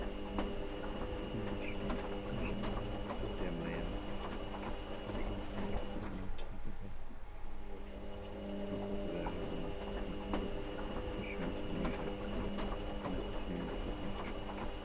Kun warshaa dha. Warshaan waan guddaa fi ammayyawaa maashinoota hedduu fi manoota hedduu irraa kan hojjatamu yoo ta'u, wantoota garaa garaa oomishuuf kan fayyaduu dha. Warshaan kun meeshaa ijaarsaa kan akka simiintoo oomisha.